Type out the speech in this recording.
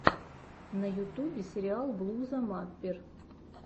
на ютубе сериал блуза маппер